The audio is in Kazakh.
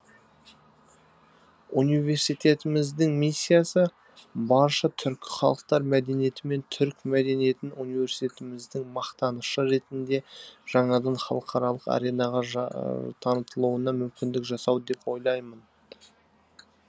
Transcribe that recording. университетіміздің миссиясы барша түркі халықтар мәдениеті мен түрік мәдениетін университетіміздің мақтанышы ретінде жаңадан халықаралық аренаға танытылуына мүмкіндік жасау деп ойлаймын